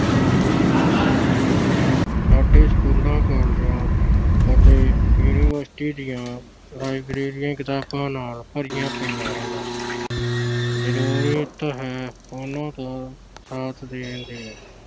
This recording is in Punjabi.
ਸਾਡੇ school college ਅਤੇ university ਦੀਆਂ libraries ਕਿਤਾਬਾਂ ਨਾਲ ਭਰੀਆਂ ਪਈਆਂ ਹਨ। ਜਰੂਰਤ ਹੈ ਉਹਨਾਂ ਤੋਂ ਸਾਥ ਦੀ।